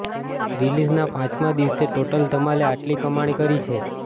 રીલિઝના પાંચમાં દિવસે ટોટલ ધમાલે આટલી કમાણી કરી છે